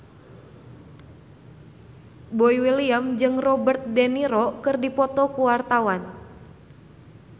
Boy William jeung Robert de Niro keur dipoto ku wartawan